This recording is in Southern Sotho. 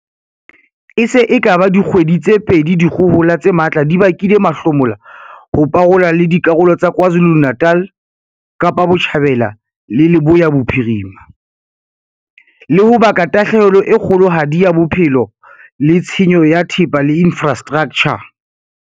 E se e ka ba dikgwedi tse pedi dikgohola tse matla di bakile mahlomola ho parola le dikarolo tsa KwaZuluNatal, Kapa Botjhabela le Leboya Bophirima, le ho baka tahlehelo e kgolohadi ya bophelo le tshenyo ya thepa le infra straktjha.